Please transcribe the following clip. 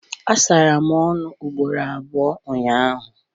Asara m ọnụ ugboro abụọ ụnyahụ